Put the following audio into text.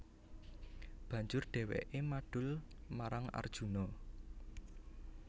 Banjur dhèwèké madul marang Arjuna